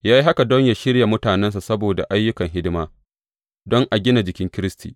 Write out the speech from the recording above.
Ya yi haka don yă shirya mutanensa saboda ayyukan hidima, don a gina jikin Kiristi.